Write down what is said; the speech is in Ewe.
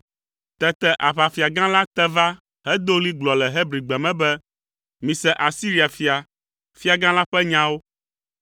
Tete aʋafiagã la te va hedo ɣli gblɔ le Hebrigbe me be, “Mise Asiria fia, fiagã la ƒe nyawo!